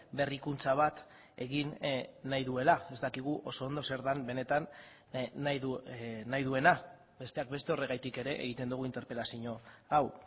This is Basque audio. berrikuntza bat egin nahi duela ez dakigu oso ondo zer den benetan nahi duena besteak beste horregatik ere egiten dugu interpelazio hau